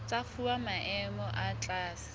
tsa fuwa maemo a tlase